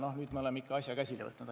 Noh, nüüd me oleme asja käsile võtnud.